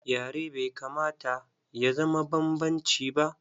Yare bai kamata ya zama banbanci ba.